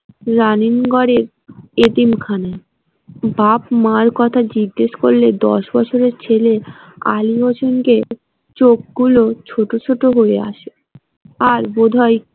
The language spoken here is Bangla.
রানীনগরের এতিমখানা বাপ-মার কথা জিজ্ঞেস করলে বছরের ছেলে আলী হোসেনকে চোখগুলো ছোট ছোট হয়ে আসে আর বোধহয়।